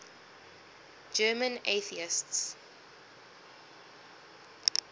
german atheists